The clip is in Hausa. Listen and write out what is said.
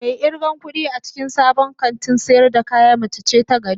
Mai irgan kudi a cikin sabon kantin sayar da kaya mace ce ta gari